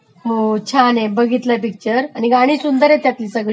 हो छान आहे बघितलाय पिक्चर आणि गाणी सुंदर आहेत सगळी त्यातली